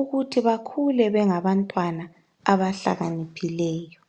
ukuthi bakhule bengabantwana abahlakaniphileyo.